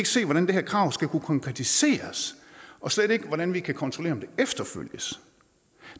se hvordan det her krav skal kunne konkretiseres og slet ikke hvordan vi kan kontrollere om det efterfølges